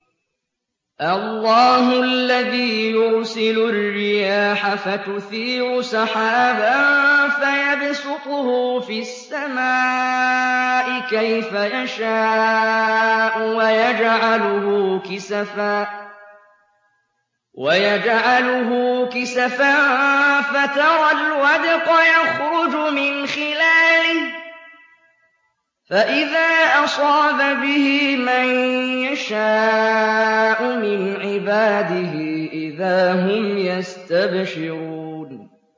اللَّهُ الَّذِي يُرْسِلُ الرِّيَاحَ فَتُثِيرُ سَحَابًا فَيَبْسُطُهُ فِي السَّمَاءِ كَيْفَ يَشَاءُ وَيَجْعَلُهُ كِسَفًا فَتَرَى الْوَدْقَ يَخْرُجُ مِنْ خِلَالِهِ ۖ فَإِذَا أَصَابَ بِهِ مَن يَشَاءُ مِنْ عِبَادِهِ إِذَا هُمْ يَسْتَبْشِرُونَ